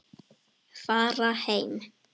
Fara heim.